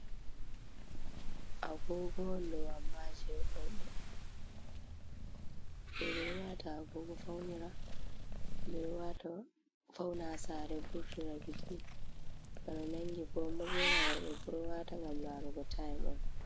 Agogo'ondou amma je rouɓe. Rouɓe ɗo wata agogo faunira, ɓeɗo waata fauna ha Sare wurtira biiki. Bana nangi komoi ɓorna worɓefuu ɗou wata ngam laarugo tayim'on.